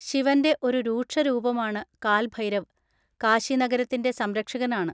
ശിവൻ്റെ ഒരു രൂക്ഷ രൂപമാണ് കാൽ ഭൈരവ്, കാശി നഗരത്തിൻ്റെ സംരക്ഷകനാണ്.